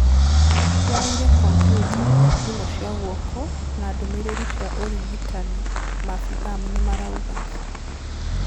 Moire kambyuta, thimũ cia guoko na ndũmĩrĩri cia ũrigitani, maabitha nĩmarauga..